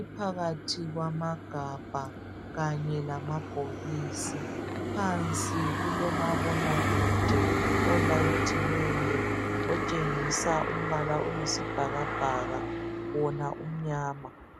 iphakathi kwamagabha kanye lamabhokisi. Phansi kulomabonakude olayithiweyo otshengisa umbala oyisibhakabhaka wona umnyama.